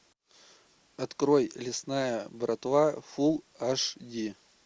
открой лесная братва фулл аш ди